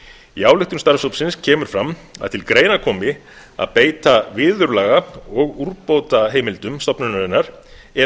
í ályktun starfshópsins kemur fram að til greina komi að beita viðurlaga og úrbótaheimildum stofnunarinnar ef